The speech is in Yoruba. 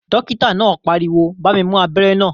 Dókítà náà pariwo "bá mi mú abẹ́rẹ́ náà